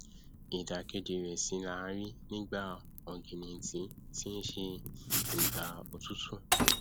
ìdàkejì rẹ sì làá rí nígbà ọgìnìntìn tí nṣe ìgbà òtútù